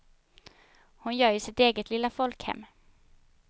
Hon gör ju sitt eget lilla folkhem.